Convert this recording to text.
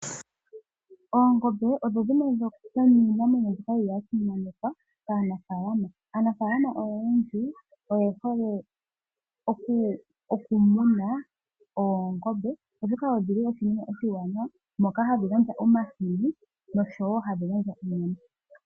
Oongombe odho dhimwe dhomiinamwenyo yimwe mbyoka ya simanekwa kaanafaalama. Aanafaalama oyendji oye hole oku muna oongombe, oshoka odhili iinamwenyo iiwanawa mbyoka hayi gandja omahini noshowo hadhi gandja onyama.